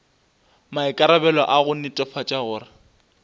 maikarabelo a go netefatša gore